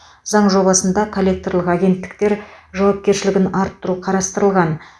заң жобасында коллекторлық агенттіктер жауапкершілігін арттыру қарастырылған